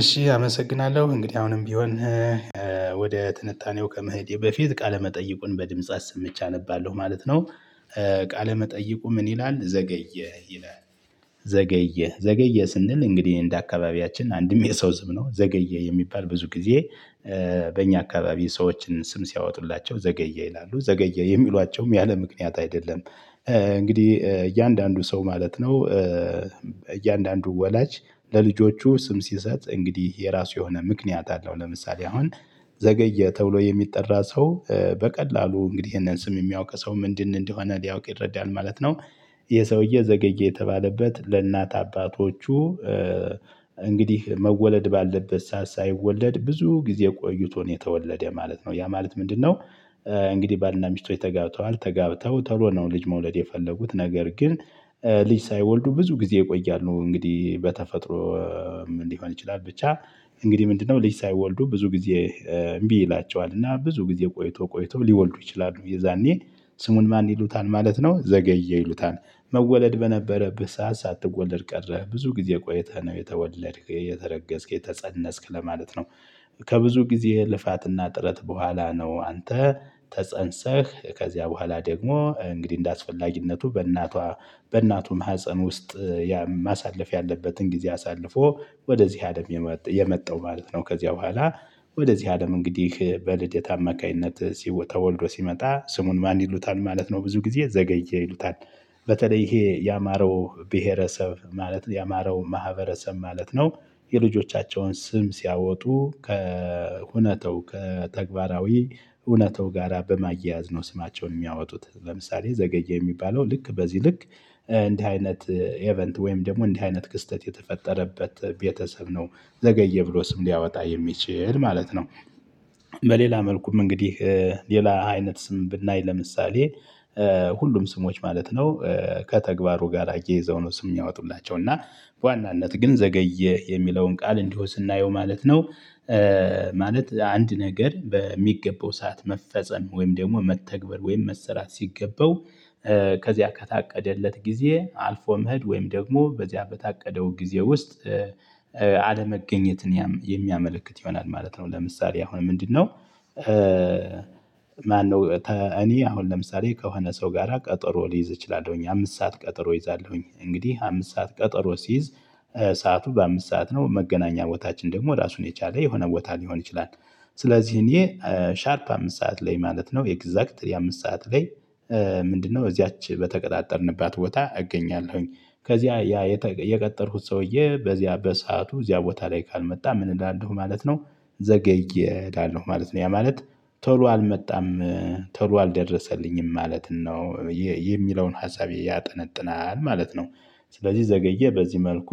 እሺ አመሰግናለሁ እንግዲህ አሁንም ቢሆን ወደ ትንታኔው ከመሄዴ በፊት ቃለመጠይቁን በድምጽ አሰምቼ አነባለሁ ማለት ነው። ቃለመጠይቁ ምን ይላል ዘገየ ይላል። ዘገየ ዘገየ ስንል እንግዲህ እንደ አካባቢያችን አንድም የሰው ስም ነው ዘገየ የሚባል ብዙ ጊዜ። በእኛ አካባቢ ሰዎችን ስም ሲያወጡላቸው ዘገየ ይላሉ ዘገየ የሚሏቸውም ያለምክንያት አይደለም። እንግዲህ እያንዳንዱ ሰው ማለት ነው። እያንዳንዱ ወላጅ ለልጆቹ ስም ሲሰጥ እንግዲህ የራሱ የሆነ ምክንያት አለው። ለምሳሌ አሁን ዘገየ ተብሎ የሚጠራ ሰው በቀላሉ እንግዲህ ይሄንን ስም የሚያውቅ ሰው ምንድን እንደሆነ ሊያውቅ ይረዳል ማለት ነው። ይሄ ሰውዬ ዘገየ የተባለበት ለእናት አባቶቹ እንግዲህ መወለድ ባለበት ሰዓት ሳይወለድ ብዙ ጊዜ ቆይቶ ነው የተወለደው ማለት ነው። ያ ማለት ምንድነው? እንግዲህ ባልና ሚስቶች ተጋብተዋል ተጋብተው ተሎ ነው ልጅ መውለድ የፈለጉት ነገር ግን። ልጅ ሳይወልዱ ብዙ ጊዜ ይቆያሉ እንግዲህ በተፈጥሮ ሊሆን ይችላል ብቻ። እንግዲህ ምንድነው? ልጅ ሳይወልዱ ብዙ ጊዜ እምቢ ይላቸዋል እና ብዙ ጊዜ ቆይቶ ቆይቶ ሊወልዱ ይችላሉ የዛኔ ስሙን ማን ይሉታል ማለት ነው ዘገየ ይሉታል። መወለድ በነበረት ሰዓት ሳትወለድ ቀረ ብዙ ጊዜ ቆይተህ ነው የተወለድክ የተረገስክ የተፀነስክ ለማለት ነው። ከብዙ ጊዜ ልፋትና ጥረት በኋላ ነው። አንተ ተፀንሰህ ከዚያ በኋላ ደግሞ እንግዲህ እንደአስፈላጊነቱ በእናቷ በእናቱ ማህፀን ውስጥ ማሳለፍ ያለበትን ጊዜ አሳልፎ ወደዚህ አለም የመጣው ማለት ነው። ከዚያ በኋላ ወደዚህ አለም እንግዲህ በልደት አማካኝነት ተወልዶ ሲመጣ ስሙን ማን ይሉታል ማለት ነው። ብዙ ጊዜ ዘገየ ይሉታል። በተለይ ይሄ የአማራው ብሄረሰብ ማለት የአማራው ማህበረሰብ ማለት ነው። የልጆቻቸውን ስም ሲያወጡ ከሁነታው ከተግባራዊ እውነታው ጋራ በማያያዝ ነው ስማቸውን የሚያወጡት ለምሳሌ ዘገየ የሚባለው ልክ በዚህ ልክ እንዲህ አይነት ኢቨንት ወይም ደግሞ እንዲህ አይነት ክስተት የተፈጠረበት ቤተሰብ ነው ዘገየ ብሎ ስም ሊያወጣ የሚችል ማለት ነው። በሌላ መልኩም እንግዲህ ሌላ አይነት ስም ብናይ ለምሳሌ ሁሉም ስሞች ማለት ነው። ከተግባሩ ጋር አያይዘው ነው ስም የሚያወጡላቸው እና በዋናነት ግን ዘገየ የሚለውን ቃል እንዲሁ ስናየው ማለት ነው። ማለት አንድ ነገር በሚገባው ሰዓት መፈጸም ወይም ደግሞ መተግበር ወይም መሰራት ሲገበው። ከዚያ ከታቀደለት ጊዜ አልፎ መሄድ ወይም ደግሞ በዚያ በታቀደው ጊዜ ውስጥ። አለመገኘትን የሚያመለክት ይሆናል ማለት ነው ለምሳሌ አሁን ምንድነው? ማነው እኔ አሁን ለምሳሌ ከሆነ ሰው ጋራ ቀጠሮ ሊይዝ እችላለሁ አምስት ሰዓት ቀጠሮ እይዛለሁ እንግዲህ አምስት ሰዓት ቀጠሮ ስይዝ ሰዓቱ በአምስት ሰዓት ነው መገናኛ ቦታችን ደግሞ ራሱን የቻለ የሆነ ቦታ ሊሆን ይችላል። ስለዚህ እኔ ሻርፕ አምስት ሰዓት ላይ ማለት ነው ኤግዛክትሊ አምስት ሰዓት ላይ። ምንድነው እዚያች በተቀጣጠርንባት ቦታ እገኛለሁኝ። ከዚያ ያ የቀጠርኩት ሰውዬ በዚያ በሰአቱ እዚያ ቦታ ላይ ካልመጣ ምን እላለው ማለት ነው። ዘገየ እላለሁ ማለት ነው ያ ማለት ቶሎ አልመጣም። ቶሎ አልደረሰልኝም ማለት ነው። የሚለውን ሀሳቤ ያጠነጥናል ማለት ነው። ስለዚህ ዘገየ በዚህ መልኩ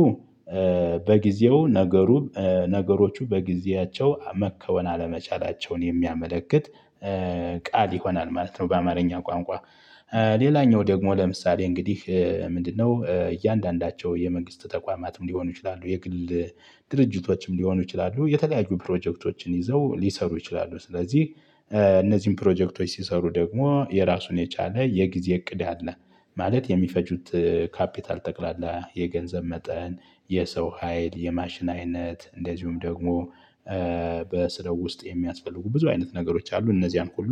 በጊዜው ነገሩ ነገሮቹ በጊዜያቸው መከወን አለመቻላቸውን የሚያመለክት ቃል ይሆናል ማለት ነው። በአማርኛ ቋንቋ። ሌላኛው ደግሞ ለምሳሌ እንግዲህ ምንድነው እያንዳንዳቸው የመንግስት ተቋማትም ሊሆኑ ይችላሉ የግል ድርጅቶችም ሊሆኑ ይችላሉ የተለያዩ ፕሮጀክቶችን ይዘው ሊሰሩ ይችላሉ ስለዚህ እነዚህን ፕሮጀክቶች ሲሰሩ ደግሞ የራሱን የቻለ የጊዜ እቅድ አለ። ማለት የሚፈጁት ካፒታል ጠቅላላ የገንዘብ መጠን የሰው ሀይል የማሽን አይነት እንደዚሁም ደግሞ በስራው ውስጥ የሚያስፈልጉ ብዙ አይነት ነገሮች አሉ እነዚህን ሁሉ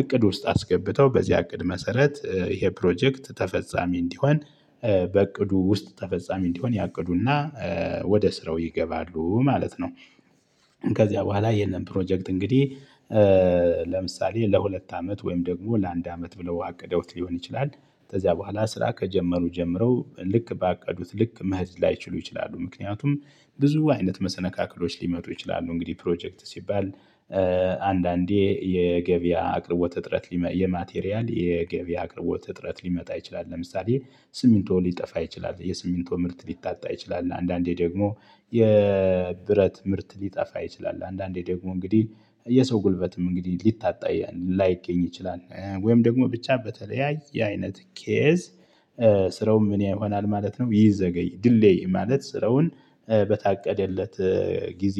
እቅድ ውስጥ አስገብተው በዚህ እቅድ መሰረት ይሄ ፕሮጀክት ተፈጻሚ እንዲሆን በእቅዱ ውስጥ ተፈጻሚ እንዲሆን ያቅዱና ወደ ስራው ይገባሉ ማለት ነው። ከዚያ በኋላ የለም ፕሮጀክት እንግዲህ። ለምሳሌ ለሁለት አመት ወይም ደግሞ ለአንድ አመት ብለው አቅደውት ሊሆን ይችላል። ከዚያ በኋላ ስራ ከጀመሩ ጀምረው ልክ ባቀዱት ልክ መሄድ ላይችሉ ይችላሉ ምክንያቱም ብዙ አይነት መሰነካክሎች ሊመጡ ይችላሉ እንግዲህ ፕሮጀክት ሲባል። አንዳንዴ የገበያ አቅርቦት እጥረት የማቴሪያል የገበያ አቅርቦት እጥረት ሊመጣ ይችላል ለምሳሌ ሲሚንቶ ሊጠፋ ይችላል። የሲሚንቶ ምርት ሊታጣ ይችላል አንዳንዴ ደግሞ የብረት ምርት ሊጠፋ ይችላል። አንዳንዴ ደግሞ እንግዲህ የሰው ጉልበትም እንግዲህ ሊታጣ ላይገኝ ይችላል ወይም ደግሞ ብቻ በተለያየ አይነት ኬዝ። ስራውም ምን ይሆናል ማለት ነው። ይዘገያል ዲሌይ ማለት ስራውን በታቀደለት ጊዜ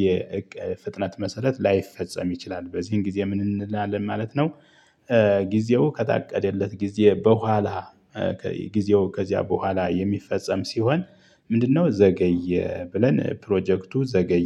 ፍጥነት መሰረት ላይፈጸም ይችላል በዚህ ጊዜ ምን እንላለን ማለት ነው። ጊዜው ከታቀደለት ጊዜ በኋላ ጊዜው ከዚያ በኋላ የሚፈጸም ሲሆን። ምንድነው ዘገየ ብለን ፕሮጀክቱ ዘገየ